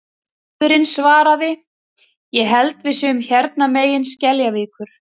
Bróðirinn svaraði: Ég held við séum hérna megin Skeljavíkur